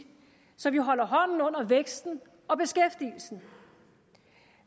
så vi holder hånden under væksten og beskæftigelsen